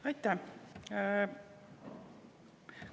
Aitäh!